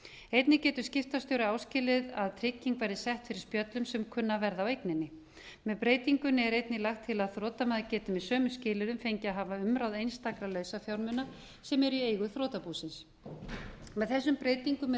einnig getur skiptastjóri áskilið sér að trygging verði sett til spjöllum sem kunna að verða á eigninni með breytingunni er einnig lagt til að þrotamaður geti með sömu skilyrðum fengið að hafa umráð einstakra lausafjármuna sem eru í eigu þrotabúsins með þessum breytingum er reynt